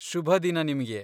ಶುಭ ದಿನ ನಿಮ್ಗೆ!